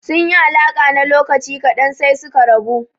Sun yi alaƙa na lokaci ƙadan sai suka rabu.